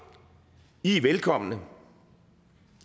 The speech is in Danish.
i er velkomne